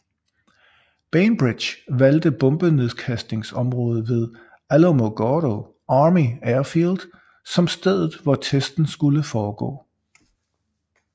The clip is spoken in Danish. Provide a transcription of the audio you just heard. Bainbridge valgte bombenedkastningsområdet ved Alamogordo Army Airfield som stedet hvor testen skulle foregå